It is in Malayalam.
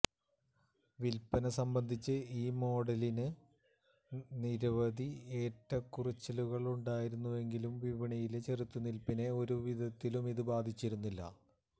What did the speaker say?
വില്പന സംബന്ധിച്ച് ഈ മോഡലിന് നിരവധി ഏറ്റക്കുറച്ചിലുണ്ടായിരുന്നുവെങ്കിലും വിപണിയിലെ ചെറുത്തുനിൽപ്പിനെ ഒരുവിധത്തിലുമിത് ബാധിച്ചിരുന്നില്ല